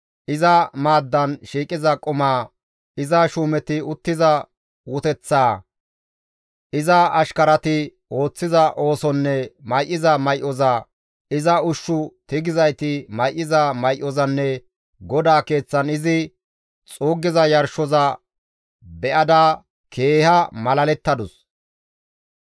iza maaddan shiiqiza qumaa, iza shuumeti uttiza uteththaa, iza ashkarati ooththiza oosonne may7iza may7oza, iza ushshu tigizayti may7iza may7ozanne GODAA keeththan izi xuuggiza yarshoza be7ada keeha malalettadus.